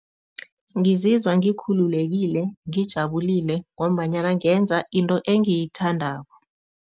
Ngizizwa ngikhululekile, ngijabulile ngombanyana ngenza into engiyithandako.